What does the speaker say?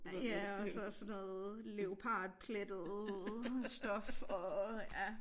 Ja og så sådan noget leopardplettet stof og ja